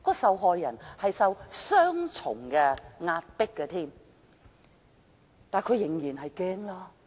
受害人受到雙重壓迫，會感到很害怕。